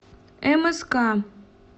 мск